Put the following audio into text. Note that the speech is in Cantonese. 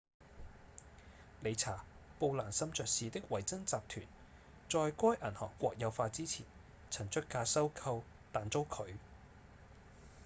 理查‧布蘭森爵士的維珍集團在該銀行國有化之前曾出價收購但遭拒